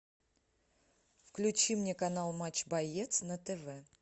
включи мне канал матч боец на тв